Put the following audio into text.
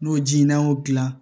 N'o ji n'a y'o dilan